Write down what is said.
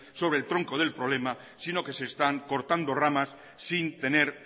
sobre el tronco del problema sino que se están cortando ramas sin tener